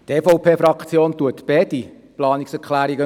Die EVP-Fraktion unterstützt beide Planungserklärungen.